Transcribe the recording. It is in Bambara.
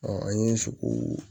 an ye so ko